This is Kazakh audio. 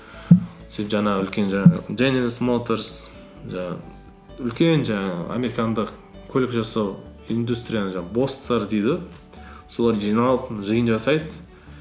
сөйтіп жаңағы үлкен жаңағы дженералс моторс жаңағы үлкен жаңағы американдық көлік жасау индустрияның жаңағы босстары дейді ғой солар жиналып жиын жасайды